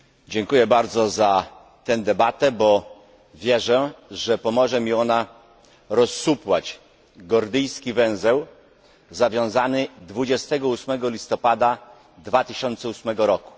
Dziękuję bardzo za tę debatę, bo wierzę, że pomoże mi ona rozsupłać gordyjski węzeł zawiązany 28 listopada 2008 r.